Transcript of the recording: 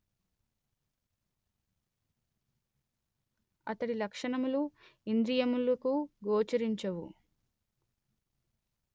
అతడి లక్షణములు ఇంద్రియములకు గోచరించవు